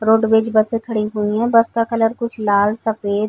Roadways बसें खड़ी हुई हैं। बस का कलर कुछ लाल सफ़ेद --